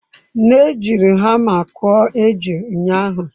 Nne jiri hama kụọ eju ụnyahụ.